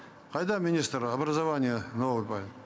қайда министр образования новый парень